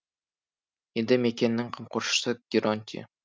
елді мекеннің қамқоршысы геронтий